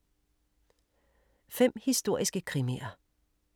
5 historiske krimier